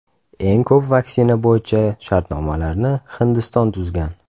Eng ko‘p vaksina bo‘yicha shartnomalarni Hindiston tuzgan.